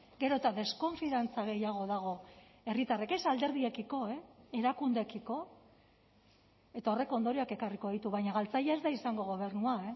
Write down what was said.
gero eta deskonfiantza gehiago dago herritarrek ez alderdiekiko erakundeekiko eta horrek ondorioak ekarriko ditu baina galtzaile ez da izango gobernua